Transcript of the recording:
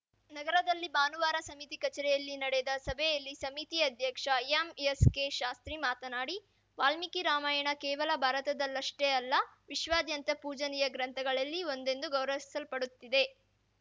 ನಗರದಲ್ಲಿ ಭಾನುವಾರ ಸಮಿತಿ ಕಚೇರಿಯಲ್ಲಿ ನಡೆದ ಸಭೆಯಲ್ಲಿ ಸಮಿತಿ ಅಧ್ಯಕ್ಷ ಎಂಎಸ್‌ಕೆಶಾಸ್ತ್ರಿ ಮಾತನಾಡಿ ವಾಲ್ಮೀಕಿ ರಾಮಾಯಣ ಕೇವಲ ಭಾರತದಲ್ಲಷ್ಟೇ ಅಲ್ಲ ವಿಶ್ವಾದ್ಯಂತ ಪೂಜನೀಯ ಗ್ರಂಥಗಳಲ್ಲಿ ಒಂದೆಂದು ಗೌರವಿಸಲ್ಪಡುತ್ತಿದೆ